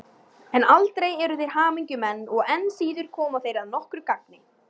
En aldrei eru þeir hamingjumenn og enn síður koma þeir að nokkru gagni.